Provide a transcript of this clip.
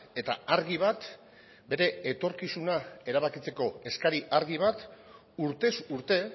eta argi bat bere etorkizuna erabakitzeko eskari argi bat urtez urte